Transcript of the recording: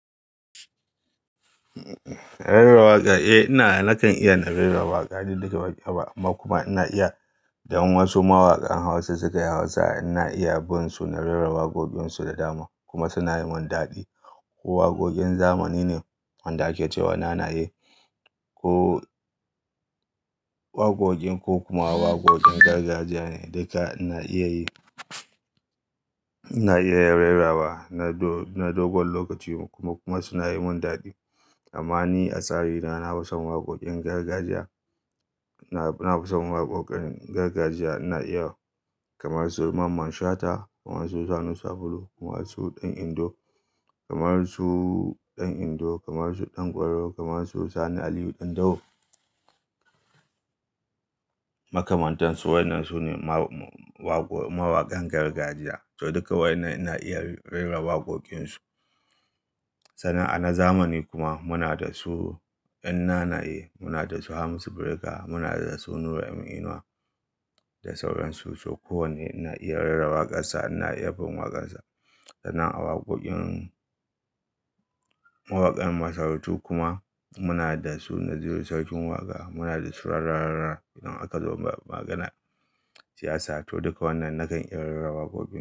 Rera waƙa, eh na na kan iya na rera waƙa, duk da ba ƙyaba amma kuma ina iya dan wasu mawaƙan Hausa suka yi Hausa ina iya bin su na rera waƙoƙinsu da dama kuma suna yi mun daɗi. Ko waƙoƙin zamani ne wanda ake cewa nanaye ko waƙoƙin ko kuma waƙoƙin gargajiya ne duka ina iya yi. Ina iya rera wa na dogon lokaci kuma suna yi mun daɗi. Amma ni a tsari na, na fi son waƙoƙin gargajiya. Na fi son waƙoƙin gargajiya ina iya kamar su Mamman Shata, kamar su Sani Sabulu, kamar su Ɗan Indo, kamar su Ɗan Indo, kamar su Ɗan Kwaro, kamar su Sani Aliyu Ɗan Dawo. Makamantansu wannan su ne mawaƙan gargajiya, so duka wannan ina iya rera waƙoƙinsu. Sanan a na zamani kuma muna da su 'yan nanaye, muna da su Hamisu Breaker, muna da su Nura M Inuwa da sauransu. So kowane ina iya rera waƙarsa ina iya bin waƙarsa. Sana'a waƙoƙin mawaƙan masarutu kuma muna da su Naziru Sarkin Waƙa, muna da su Rara Rara idan aka zo maganar siyasa. To duka wannan na kan iya rera waƙoƙinsu.